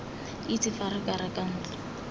itse fa re reka ntlo